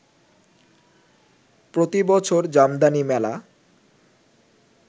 প্রতি বছর জামদানি মেলা